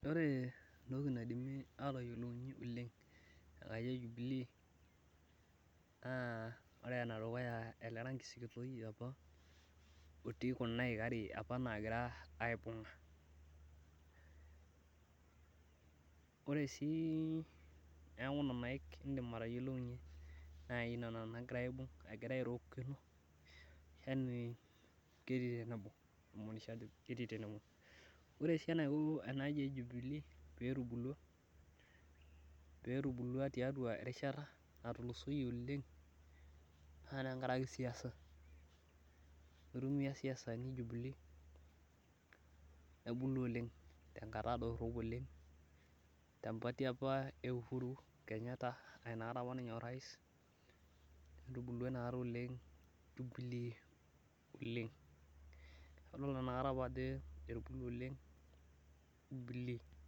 ore entoki naidimi atayiolounyie jubilee naa nena aik egira airorokino ore sii eniko enaaji ejubilee pee etubulua tiatua erishata natulusoyie oleng naa tenkaraki siasa itumiya isiasani jubilee nebulu oleng tenkata dorop, tempati apa euhuru naa etubulua oleng jubilee.